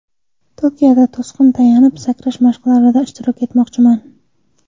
Tokioda to‘sin va tayanib sakrash mashqlarida ishtirok etmoqchiman.